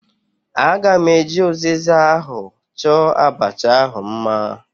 Aga m eji uziza ahụ chọọ abacha ahu mma